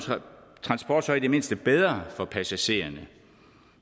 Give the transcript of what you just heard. transport så i det mindste bedre for passagererne